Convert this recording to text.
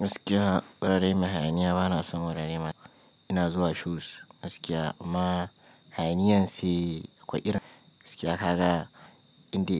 Gaskiya wurare mai hayaniya bana son wurare ina zuwa shows gaskiya amma hayaniyan sai akwai irin gaskiya kaga inda